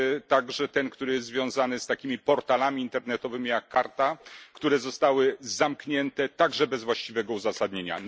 także ten, który jest związany z takimi portalami internetowymi jak Karta, które zostały zamknięte, także bez właściwego uzasadnienia.